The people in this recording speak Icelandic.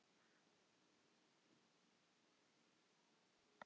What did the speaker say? Þessi sjálfsvorkunn er mér ný.